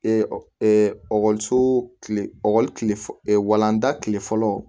ɔkɔliso kile ekɔlilen walanda kile fɔlɔ